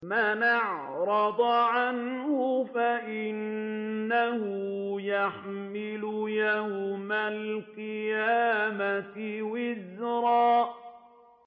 مَّنْ أَعْرَضَ عَنْهُ فَإِنَّهُ يَحْمِلُ يَوْمَ الْقِيَامَةِ وِزْرًا